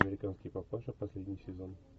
американский папаша последний сезон